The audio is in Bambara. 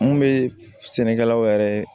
Mun bɛ sɛnɛkɛlaw yɛrɛ